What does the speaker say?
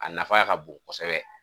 A nafa ka bon kosɛbɛ.